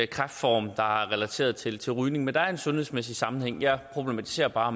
kræftform der er relateret til til rygning men der er en sundhedsmæssig sammenhæng jeg problematiserer bare